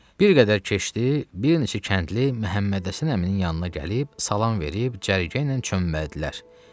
Bir qədər keçdi, bir neçə kəndli Məhəmmədhəsən əminin yanına gəlib, salam verib, cərgə ilə çömbəldilər.